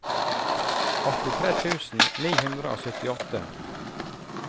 åttitre tusen ni hundre og syttiåtte